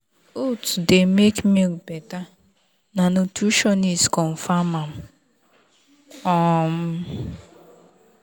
oats dey make milk better na nutritionist confirm am. um